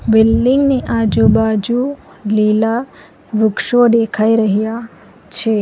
Building ની આજુબાજુ લીલા વૃક્ષો દેખાઈ રહ્યા છે.